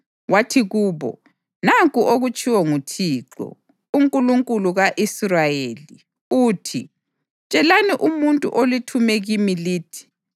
Wathi kubo, “Nanku okutshiwo nguThixo, uNkulunkulu ka-Israyeli, uthi: Tshelani umuntu olithume kimi lithi,